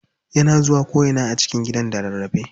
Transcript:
Yana zuwa ko ina a cikin gidan da rarrafe.